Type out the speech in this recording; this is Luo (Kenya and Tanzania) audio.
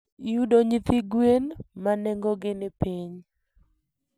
Yudo nyithi gwen ma nengogi ni piny.